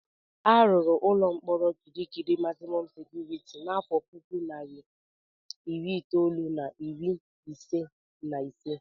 A rụrụ ụlọ mkpọrọ Kirikiri magzimọm sekuriti n'afọ puku na narị iri itolu na iri ise na ise.